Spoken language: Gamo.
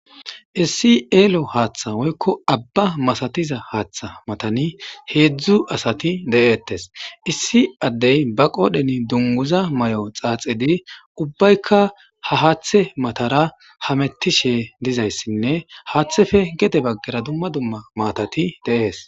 Issi ello haaththa woykko abba masatza haaththa matani hezdzdu asati de'etes. Issi adey ba qodhdhen dungguza mayo xaxidi ubbaykka ha haaththe matara hamutishe dizaysinne haaththeppe gede bagara dumma dumma maatati de'ese.